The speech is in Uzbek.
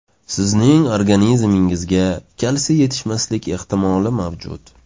Sizning organizmingizga kalsiy yetishmaslik ehtimoli mavjud.